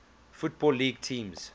football league teams